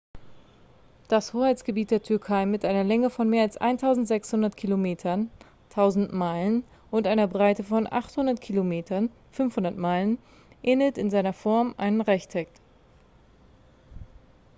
das hoheitsgebiet der türkei mit einer länge von mehr als 1.600 kilometern 1.000 meilen und einer breite von 800 kilometern 500 meilen ähnelt in seiner form einem rechteck